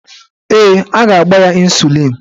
Ee, a ga-agba ya ịnsulịn